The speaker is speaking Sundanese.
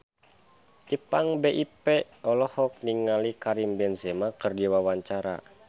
Ipank BIP olohok ningali Karim Benzema keur diwawancara